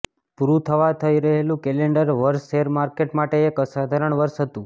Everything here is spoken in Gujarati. પૂરું થવા જઈ રહેલું કેલેન્ડર વર્ષ શેરમાર્કેટ માટે એક અસાધારણ વર્ષ હતું